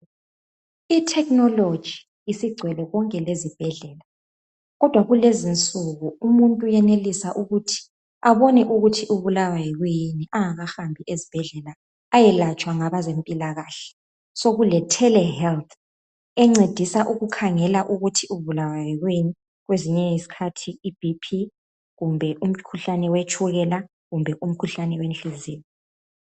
I technology isigcwele konke lezibhedlela kodwa kulezinsuku umuntu uyenelisa ukuthi abone ukuthi ubulawa kuyini engahambi ezibhedlela ayelatshwa ngabezempilakahle. Sekule tele health encedisa ukukhangela ukuthi ubulawa kuyini kwezinye izikhathi ibp kumbe umkhuhlane wetshukela kumbe umkhuhlane wenhliziyo.